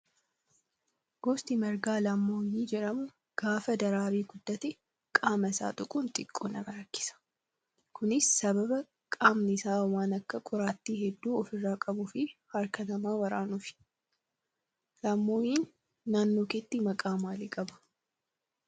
Gosti margaa laammoyii jedhamu gaafa daraaree guddate qaama isaa tuquun xiqqoo nama rakkisa. Kunis sababa qaamni isaa waan akka qoraattii hedduu ofirraa qabuu fi harka namaa waraanuufi. Laammoyiin naannoo keetti maqaa maalii qaba?